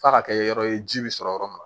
F'a ka kɛ yɔrɔ ye ji bɛ sɔrɔ yɔrɔ min na